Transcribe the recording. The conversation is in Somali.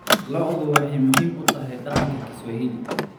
Lo'du waxay muhiim u tahay dhaqanka Kiswahili.